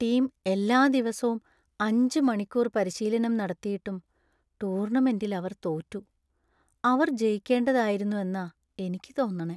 Team എല്ലാ ദിവസോം അഞ്ച് മണിക്കൂർ പരിശീലനം നടത്തിയിട്ടും ടൂർണമെന്‍റിൽ അവർ തോറ്റു. അവർ ജയിക്കേണ്ടതായിരുന്നു എന്നാ എനിക്ക് തോന്നണേ .